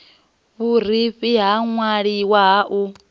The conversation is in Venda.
vhurifhi ha ṅwaliwa ha u